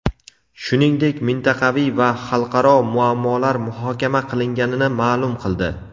shuningdek mintaqaviy va xalqaro muammolar muhokama qilinganini ma’lum qildi.